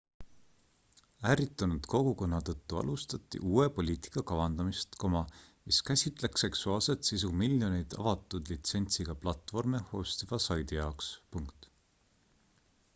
ärritunud kogukonna tõttu alustati uue poliitika kavandamist mis käsitleks seksuaalset sisu miljoneid avatud litsentsiga platvorme hostiva saidi jaoks